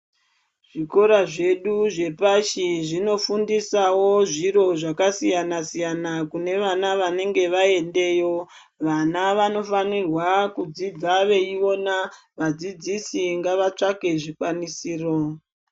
Zvikora zvedu zvepashi zvinofundisawo zviro zvakasiyana siyana kune vana vanenge vaendeyo vana vanofanirwa kudzidza veiona vadzidzisi ngavatsvake zvikwanisiro .